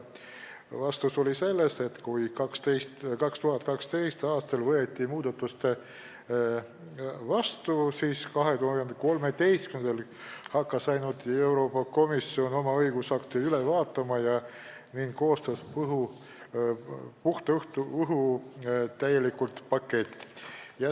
Vastus oli selline, et pärast seda, kui muudatused 2012. aastal vastu võeti, hakkas Euroopa Komisjon 2013. aastal oma õigusakte üle vaatama ning koostas puhta õhu täieliku paketi.